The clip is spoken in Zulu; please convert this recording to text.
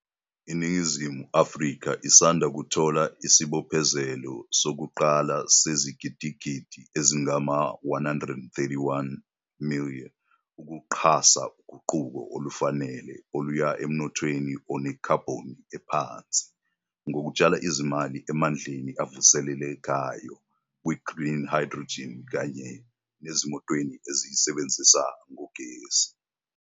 INingizimu Afrika isanda kuthola isibophezelo sokuqala sezigidigidi ezingama-R131 ukuxhasa uguquko olufanele oluya emnothweni onekhabhoni ephansi ngokutshala izimali emandleni avusele lekayo, kwi-green hydrogen kanye nasezimotweni ezisebenza ngogesi.